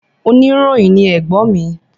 Oníròyìn ni ẹ̀gbọ́n mi